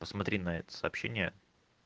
посмотри на это сообщение